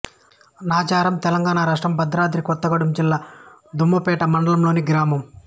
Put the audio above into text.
నాచారం తెలంగాణ రాష్ట్రం భద్రాద్రి కొత్తగూడెం జిల్లా దమ్మపేట మండలంలోని గ్రామం